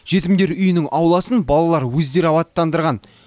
жетімдер үйінің ауласын балалар өздері абаттандырған